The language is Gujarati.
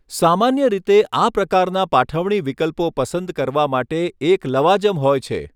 સામાન્ય રીતે, આ પ્રકારના પાઠવણી વિકલ્પો પસંદ કરવા માટે એક લવાજમ હોય છે.